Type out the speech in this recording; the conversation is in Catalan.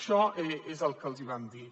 això és el que els vam dir